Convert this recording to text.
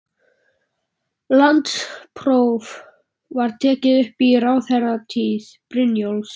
Landspróf var tekið upp í ráðherratíð Brynjólfs